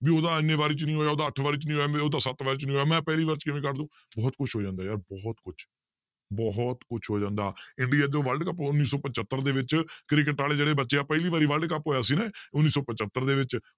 ਵੀ ਉਹਦਾ ਇੰਨੇ ਵਾਰੀ 'ਚ ਨੀ ਹੋਇਆ ਉਹਦਾ ਅੱਠ ਵਾਰੀ 'ਚ ਨੀ ਹੋਇਆ ਉਹਦਾ ਸੱਤ ਵਾਰੀ 'ਚ ਨੀ ਹੋਇਆ ਮੈਂ ਪਹਿਲੀ ਵਾਰ 'ਚ ਕਿਵੇਂ ਕਰ ਦਊਂ, ਬਹੁਤ ਕੁਛ ਹੋ ਜਾਂਦਾ ਯਾਰ ਬਹੁਤ ਕੁਛ ਬਹੁਤ ਕੁਛ ਹੋ ਜਾਂਦਾ world ਕੱਪ ਉੱਨੀ ਸੌ ਪਜੱਤਰ ਦੇ ਵਿੱਚ ਕ੍ਰਿਕਟ ਵਾਲੇ ਜਿਹੜੇ ਬੱਚੇ ਆ ਪਹਿਲੀ ਵਾਰੀ world ਕੱਪ ਹੋਇਆ ਸੀ ਨਾ ਉੱਨੀ ਸੌ ਪਜੱਤਰ ਦੇ ਵਿੱਚ